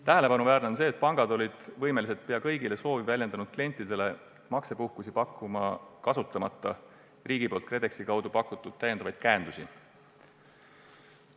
Tähelepanuväärne on aga see, et pangad olid võimelised pea kõigile soovi avaldanud klientidele maksepuhkust andma, kasutamata riigi poolt KredExi kaudu pakutud täiendavaid käendusi.